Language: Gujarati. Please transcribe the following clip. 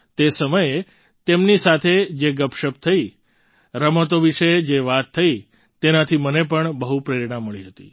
તે સમયે તેમની સાથે જે ગપશપ થઈ રમતો વિશે જે વાત થઈ તેનાથી મને પણ બહુ જ પ્રેરણા મળી હતી